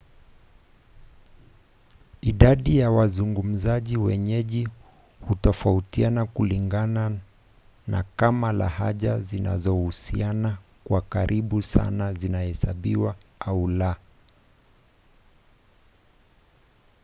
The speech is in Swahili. idadi ya wazungumzaji wenyeji hutofautiana kulingana na kama lahaja zinazohusiana kwa karibu sana zinahesabiwa au la